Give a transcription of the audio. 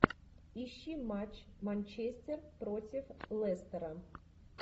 ищи матч манчестер против лестера